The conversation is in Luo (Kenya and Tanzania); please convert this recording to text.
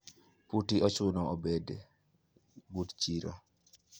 puoti ochuno obed but chiro?